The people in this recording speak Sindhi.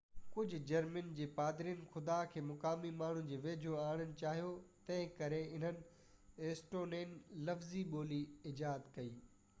ڪجهہ جرمني جي پادرين خدا کي مقامي ماڻهن جي ويجهو آڻڻ چاهيو تنهنڪري انهن اسٽونين لفظي ٻولي ايجاد ڪئي